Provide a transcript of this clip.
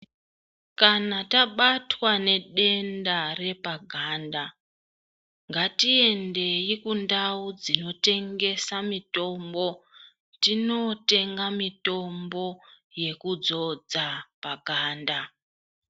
Kana tabatwa nedenda repaganda ngatiendeyi kundau dzinotengesa mitombo tinotenga mitombo yekudzodza paganda.